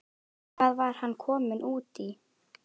Hvað var hann kominn út í?